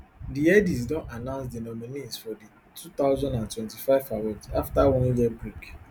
di headies don announce di nominees for di two thousand and twenty-five awards afta one year break